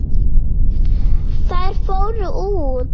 Þær fóru út.